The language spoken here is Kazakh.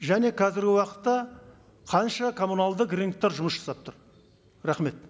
және қазіргі уақытта қанша коммуналдық рыноктар жұмыс жасап тұр рахмет